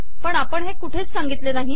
पण आपण हे कुठेच सांगितले नाही